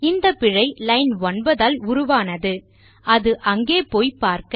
இந்தப்பிழை line 9 ஆல் உருவானது அது அங்கே போய் பார்க்க